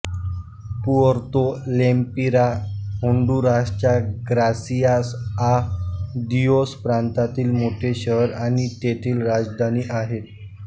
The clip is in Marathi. पुएर्तो लेम्पिरा होन्डुरासच्या ग्रासियास आ दियोस प्रांतातील मोठे शहर आणि तेथील राजधानी आहे